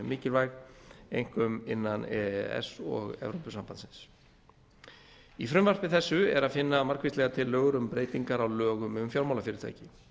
mikilvæg einkum innan e e s og e s b í frumvarpi þessu er að finna margvíslegar tillögur um breytingar á lögum um fjármálafyrirtæki